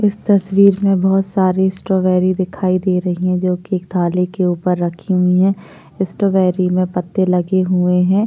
इस तस्वीर में बहुत सारी स्ट्रॉबेरी दिखाई दे रही है जो की थाली के ऊपर रखी हुई हैं उस स्ट्रॉबेरी में पत्ते लगे हुए हैं--